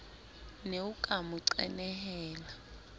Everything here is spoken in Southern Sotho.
ne o ka mo qenehela